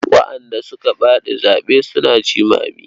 Waɗanda suka faɗi zaɓe suna jimami.